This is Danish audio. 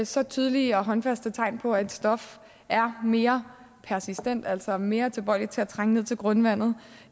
så tydelige og håndfaste tegn på at et stof er mere persistent altså mere tilbøjelig til at trænge ned til grundvandet